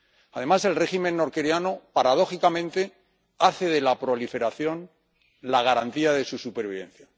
Además, el régimen norcoreano, paradójicamente, hace de la proliferación la garantía de su supervivencia.